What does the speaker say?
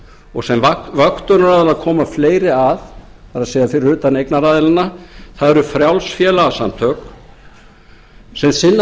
og sem vöktunaraðilar koma fleiri að það er fyrir utan eignaraðilana það eru frjáls félagasamtök sem sinna